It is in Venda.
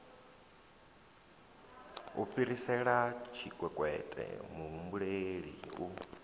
u fhirisela tshikwekwete muhumbeli u